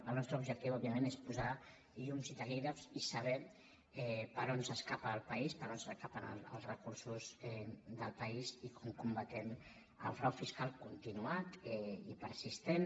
el nostre objectiu òbviament és posar llums i taquígrafs i saber per on s’escapa el país per on s’escapen els recursos del país i com combatem el frau fiscal continuat i persistent